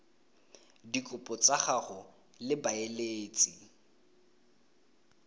dikopo tsa gago le baeletsi